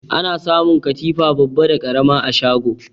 Ana samun katifa babba da ƙarama a shago.